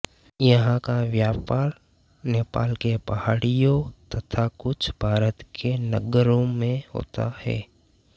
यहाँका व्यापार नेपाल के पहाडियों तथा कुछ भारत के नगरों मे होता है